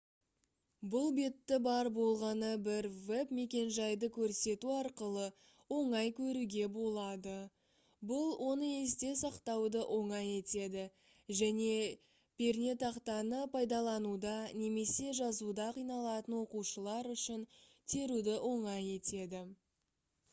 бұл бетті бар болғаны бір веб-мекенжайды көрсету арқылы оңай көруге болады бұл оны есте сақтауды оңай етеді және пернетақтаны пайдалануда немесе жазуда қиналатын оқушылар үшін теруді оңай етеді